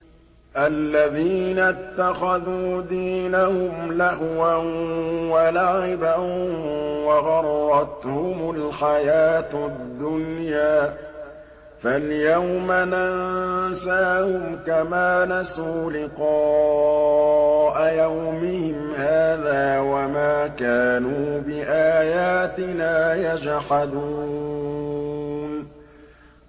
الَّذِينَ اتَّخَذُوا دِينَهُمْ لَهْوًا وَلَعِبًا وَغَرَّتْهُمُ الْحَيَاةُ الدُّنْيَا ۚ فَالْيَوْمَ نَنسَاهُمْ كَمَا نَسُوا لِقَاءَ يَوْمِهِمْ هَٰذَا وَمَا كَانُوا بِآيَاتِنَا يَجْحَدُونَ